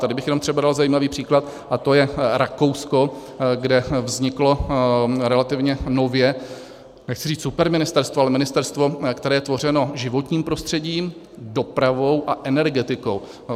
Tady bych jenom třeba dal zajímavý příklad, a to je Rakousko, kde vzniklo relativně nově, nechci říci superministerstvo, ale ministerstvo, které je tvořeno životním prostředím, dopravou a energetikou.